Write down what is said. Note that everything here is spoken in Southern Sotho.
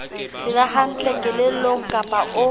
phela hantle kelellong kapa o